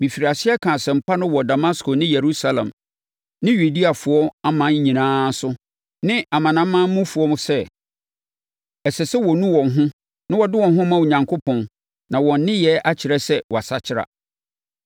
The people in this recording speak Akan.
Mefirii aseɛ kaa asɛmpa no wɔ Damasko ne Yerusalem ne Yudeafoɔ aman nyinaa so ne amanamanmufoɔ mu sɛ, ɛsɛ sɛ wɔnu wɔn ho na wɔde wɔn ho ma Onyankopɔn, na wɔn nneyɛeɛ akyerɛ sɛ wɔasakyera.